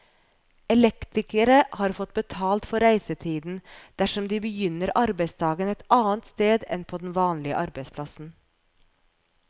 Elektrikere har fått betalt for reisetiden dersom de begynner arbeidsdagen et annet sted enn på den vanlige arbeidsplassen.